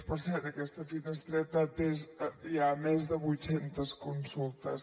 per cert aquesta finestreta ha atès ja més de vuit centes consultes